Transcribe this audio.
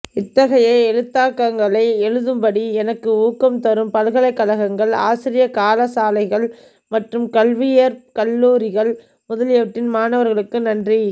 இத்தகைய எழுத்தாக்கங்களை எழுதும்படி எனக்கு ஊக்கம் தரும் பல்கலைக்கழகங்கள் ஆசிரிய கலாசாலைகள் மற்றும் கல்வியியற் கல்லூரிகள் முதலியவற்றின் மாணவர்களுக்கு நன்றி